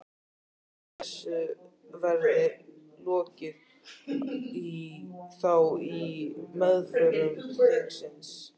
Heldurðu að þessu verði lokið þá í meðförum þingsins?